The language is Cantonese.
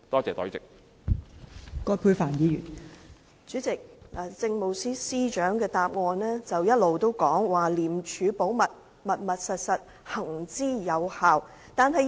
代理主席，政務司司長的答覆一直強調"廉署保密，密密實實"，並且行之有效。